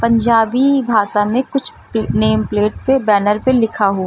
पंजाबी भाषा में कुछ नेम प्लेट पे बैनर पर लिखा हुआ--